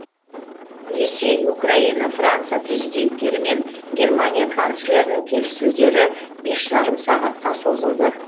ресей украина франция президенттері мен германия канцлерінің келіссөздері бес жарым сағатқа созылды